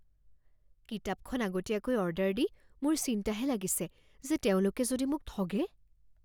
কিতাপখন আগতীয়াকৈ অৰ্ডাৰ দি মোৰ চিন্তাহে লাগিছে যে তেওঁলোকে যদি মোক ঠগে?